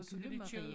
Gyllemarie